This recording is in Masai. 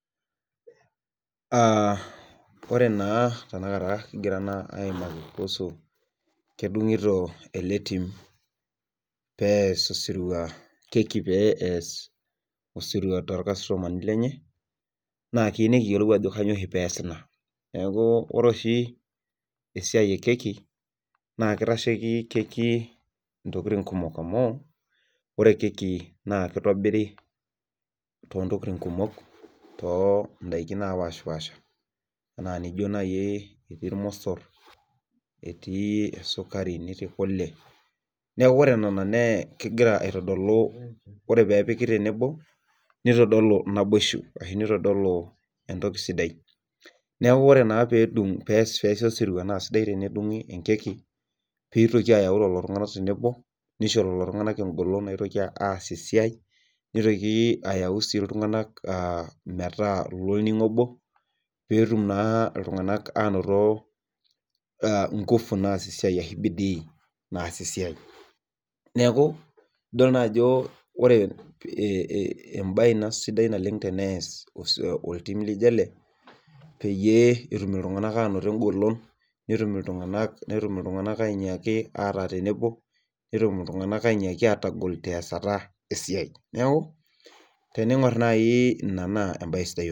Aa ore naa kigira naa aaimaki kuusu, kedungiti ele tim kkei pee ees, osirua toolkastomani lenye. naa kiyieu nikiyiolou ajo kainyioo oshi peesita. ore oshi esiai e keki naa kitasheki keki intokitin kumok amu, ore keki naa kitobiri too ntokitin kumok too daikin naapashipaasha. anaa nijo naaji etii ilmosor, etii esukari, netii kule. ore nena tenepiki tenebo nitodolu naboisho, ashu nitodolu entoki sidai. neekh ore naa pee eesi osirua nedungi keki pee itoki ayau lelo tunganak tenebo nisho egolon naotoki aasie esiai. nitoki sii ayau iltunganak metaa ilolningo obo. pee etum naa iltunganak aanoto ngufu naasie esiai ashu bidii. naasie esiai. neeku idol naajo ore ebae Ina sidai oleng tenees, osirua loltim laijo ele, peyie etum iltunganak Anoto egolon. netum iltunganak, ainyaki ataa tenebo Netum iltunganak anyaaki atagol. teesata esiai. neekh teningor naaji anaa